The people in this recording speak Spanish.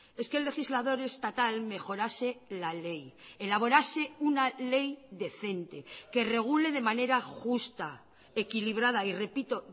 es que el legislador estatal mejorase la ley elaborase una ley decente que regule de manera justa equilibrada y repito